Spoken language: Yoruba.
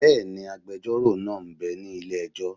Bẹ́ẹ̀ni, agbẹjọ́rò náà m bẹ ní ilé-ẹjọ́